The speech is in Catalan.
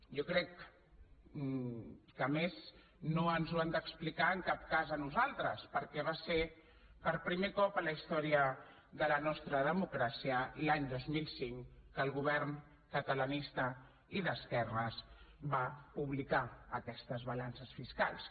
jo crec que a més no ens ho han d’explicar en cap cas a nosaltres perquè va ser per primer cop en la història de la nostra democràcia l’any dos mil cinc quan el govern catalanista i d’esquerres va publicar aquestes balances fiscals